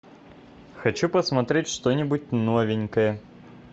хочу посмотреть что нибудь новенькое